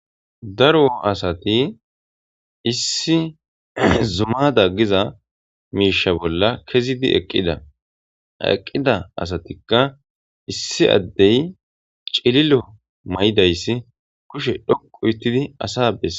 Daro asati issi zumada giza miisha bolla kezidi eqqida eqqida asatikka issi addey cililo ma'idayssi kushe dhoqu ittidi asa bes